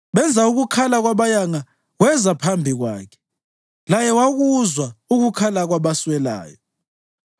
Benza ukukhala kwabayanga kweza phambi kwakhe, laye wakuzwa ukukhala kwabasweleyo.